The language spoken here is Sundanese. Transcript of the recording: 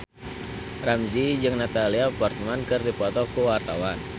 Ramzy jeung Natalie Portman keur dipoto ku wartawan